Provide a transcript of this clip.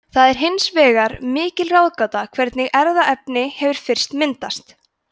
það er hins vegar mikil ráðgáta hvernig erfðaefni hefur fyrst myndast